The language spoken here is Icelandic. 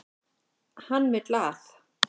Hann vill að.